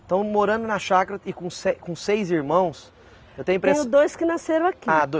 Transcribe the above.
Então morando na chácara e com se com seis irmãos, eu tenho a impres. Tiveram dois que nasceram aqui. Ah, doi